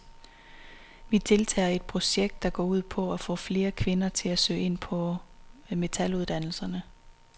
Vi deltager i et projekt, der går ud på at få flere kvinder til at søge ind på metaluddannelserne.